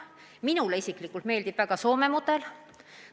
Minule isiklikult meeldib väga Soome mudel.